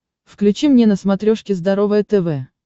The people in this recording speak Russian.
включи мне на смотрешке здоровое тв